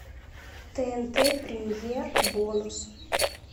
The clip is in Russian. тнт премьер бонус